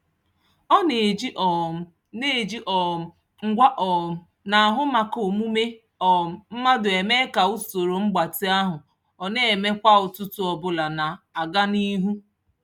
Ọ na-eji um na-eji um ngwa um na-ahụ maka omume um mmadụ eme ka usoro mgbatị ahụ ọ na-eme kwa ụtụtụ ọbụla na-aga n'ihu.